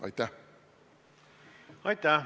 Aitäh!